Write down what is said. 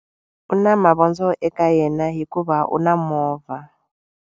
U na mavondzo eka yena hikuva u na movha.